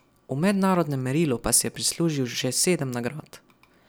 V mednarodnem merilu pa si je prislužil že sedem nagrad.